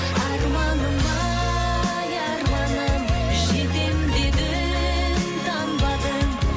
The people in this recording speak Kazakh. арманым ай арманым жетем дедің танбадың